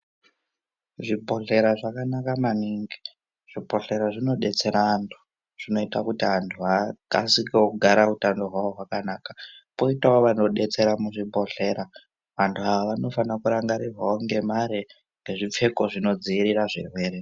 Zvibhedhlera zvakanaka maningi. Zvibhedhlera zvinodetsera antu, zvinoita kuti antu akasikewo kugara utano hwawo hwakanaka. Poitawo vanodetsera muzvibhedhlera. Vantu ava vanofanira kurangarirwawo ngemare ngezvipfeko zvinodziirira zvirwere.